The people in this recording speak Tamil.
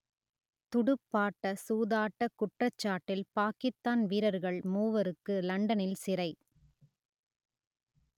துடுப்பாட்ட சூதாட்டக் குற்றச்சாட்டில் பாக்கித்தான் வீரர்கள் மூவருக்கு லண்டனில் சிறை